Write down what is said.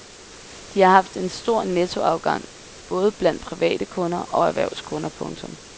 De har haft en stor nettoafgang både blandt private kunder og erhvervskunder. punktum